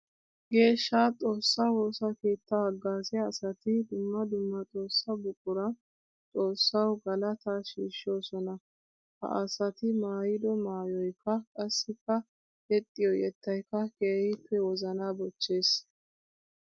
Geeshsha xoosa woosa keetta hagazziya asatti dumma dumma xoosa buquran xoosawu galatta shiishosonna. Ha asatti maayiddo maayoykka qassikka yexxiyo yettaykka keehippe wozana bochchees.